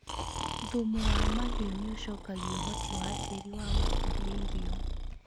Thumu wa mahiũ nĩ ũcokagia ũhoti wa tĩĩri wa gũkũria irio.